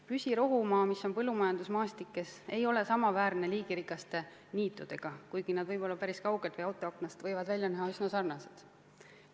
Püsirohumaad keset põllumajandusmaastikku ei ole samaväärsed liigirikaste niitudega, kuigi nad võib-olla päris kaugelt või autoaknast võivad välja näha üsna sarnased.